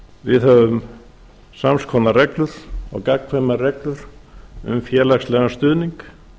við höfum sams konar reglur og gagnkvæmar reglur við höfum félagslegan stuðning